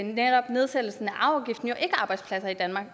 netop nedsættelsen af arveafgiften ikke arbejdspladser i danmark